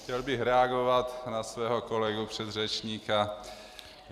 Chtěl bych reagovat na svého kolegu předřečníka.